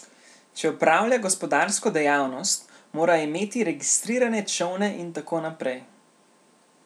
Če opravlja gospodarsko dejavnost, mora imeti registrirane čolne in tako naprej.